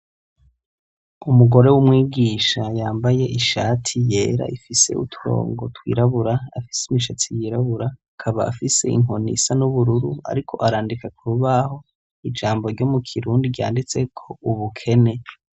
umugore w'umwigisha yambaye ishati yera ifise uturongo twirabura afise imishatsi yirabura akaba afise inkoni isa n'ubururu ariko arandika kurubaho ijambo ryo mu kirundi ryanditse ko ubukene